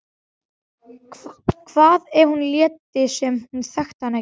Hvað ef hún léti sem hún þekkti hann ekki?